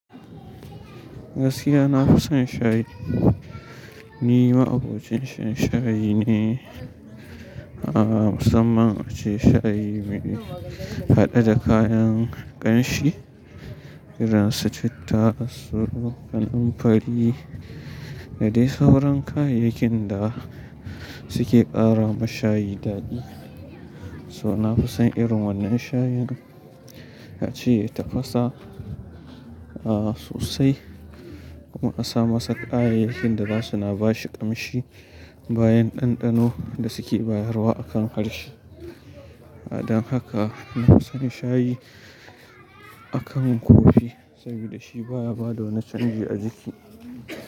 Gaskiya na fusan shayi. Ni ma'abocin shan shayi ne, ah, musamman ace shayi me hade da kayan ƙanshi irin su citta, tsoro, ƙaranfari da dai sauran kayayyakin da suke ƙara ma shayi daɗi. So na fusan irin wannan shayin, ace ya tafasa, ah, sosai kuma a sa masa kayayyakin da za su na ba shi ƙamshi bayan ɗanɗano da suke bayarwa akan harshe. Dan haka na fisan shayi akan kofi, saboda shi baya bada wani canji a jiki.